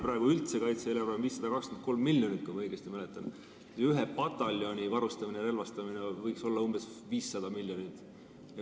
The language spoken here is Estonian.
Praegu on kaitse-eelarve üldse 523 miljonit, kui ma õigesti mäletan, ja ühe pataljoni varustamine-relvastamine võiks maksta umbes 500 miljonit.